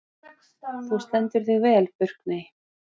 Þú stendur þig vel, Burkney!